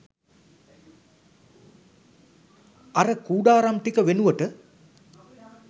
අර කූඩාරම් ටික වෙනුවට